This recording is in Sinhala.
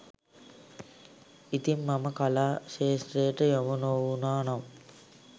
ඉතිං මම කලා ක්‍ෂේත්‍රයට යොමු නොවුණා නම්